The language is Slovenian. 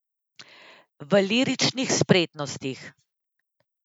V liričnih spretnostih.